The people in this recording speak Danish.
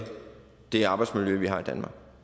det arbejdsmiljø vi har i danmark